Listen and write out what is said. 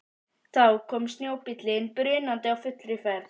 Þá kom snjóbíllinn brunandi á fullri ferð.